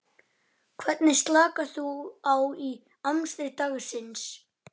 Hvernig slakar þú á í amstri dagsins?